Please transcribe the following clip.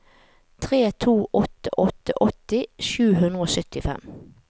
tre to åtte åtte åtti sju hundre og syttifem